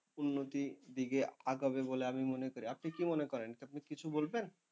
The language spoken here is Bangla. উন্নতির দিকে আগাবে বলে আমি মনে করি। আপনি কি মনে করেন, আপনি কিছু বলবেন?